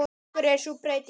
Af hverju er sú breyting?